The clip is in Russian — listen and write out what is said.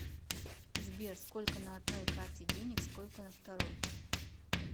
сбер сколько на одной карте денег сколько на второй